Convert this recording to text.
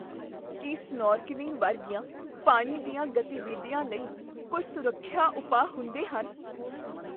ਕੀ snorkelling ਵਰਗੀਆਂ ਪਾਣੀ ਦੀਆਂ ਗਤੀਵਿਧੀਆਂ ਲਈ ਕੋਈ ਸੁਰੱਖਿਆ ਉਪਾਅ ਹੁੰਦੇ ਹਨ?